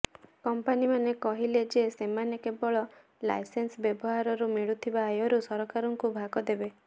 କମ୍ପାନୀମାନେ କହିଲେ ଯେ ସେମାନେ କେବଳ ଲାଇସେନ୍ସ ବ୍ୟବହାରରୁ ମିଳୁଥିବା ଆୟରୁ ସରକାରଙ୍କୁ ଭାଗ ଦେବେ